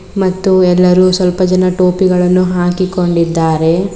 ಮತ್ತು ಎಲ್ಲರೂ ಸ್ವಲ್ಪ ಜನ ಟೋಪಿಗಳನ್ನು ಹಾಕಿಕೊಂಡಿದ್ದಾರೆ.